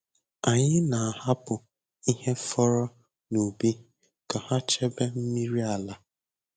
Anyị na-ahapụ ihe fọrọ n’ubi ka ha chebe mmiri ala.